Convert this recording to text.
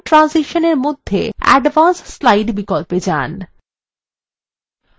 slide ট্রানজিশনসএর মধ্যে advance slide বিকল্পে যান